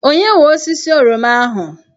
Onye nwe osisi oroma ahụ?